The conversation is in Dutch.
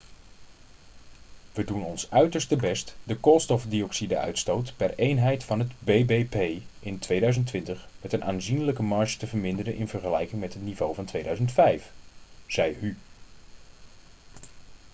'we doen ons uiterste best de koolstofdioxide-uitstoot per eenheid van het bbp in 2020 met een aanzienlijke marge te verminderen in vergelijking met het niveau van 2005,' zei hu